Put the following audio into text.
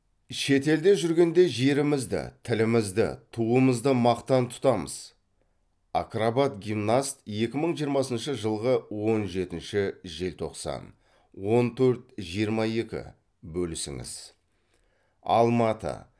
шет елде жүргенде жерімізді тілімізді туымызды мақтан тұтамыз акробат гимнаст екі мың жиырмасыншы жылғы он жетінші желтоқсан он төрт жиырма екі бөлісіңіз алматы